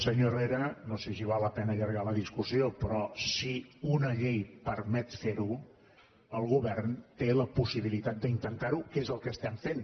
senyor herrera no sé si val la pena allargar la discussió però si una llei permet fer ho el govern té la possibilitat d’intentar ho que és el que estem fent